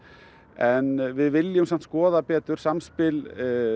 en við viljum samt skoða betur samspil